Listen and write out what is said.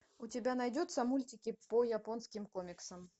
у тебя найдется мультики по японским комиксам